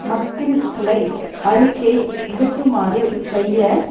மக்கிரிஸ்டலை அறிக்கை விடுக்குமாறு செய்ய